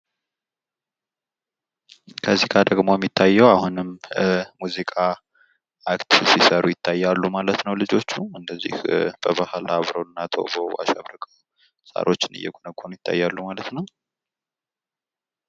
ከዚህ ደግሞ የሚታየው አሁንም ሙዚቃ ሲሰሩ ይታያሉ ማለት ነው። አሁን ልጆቹ እንደዚህ በባህል አምረው እና አሸብርቀው ሳሮች እየጎነጎኑ ይታያሉ ማለት ነው።